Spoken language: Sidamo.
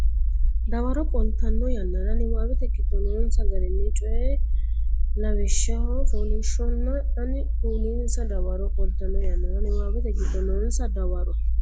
dawaro qoltanno yannara niwaawete giddo noonsa garinni coy Lawishsha fooliishsho la anni kulinsa dawaro qoltanno yannara niwaawete giddo noonsa dawaro.